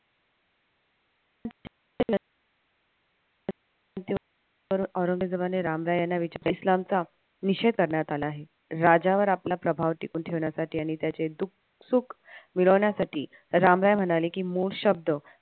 औरंगजेबाने राम रॉय याना विचारले. इस्लामचा निषेद करण्यात आला आहे. राजावर आपला प्रभाव टिकून ठेवण्यासाठी आणि त्याचे दुःखसुख मिळवण्यासाठी राम रॉय म्हणाले की मूळ शब्द